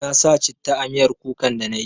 Na sa citta a miyar kukan da na yi